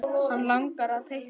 Hann langar að teikna.